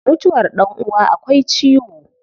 Mutuwar dan uwa akwai ciwo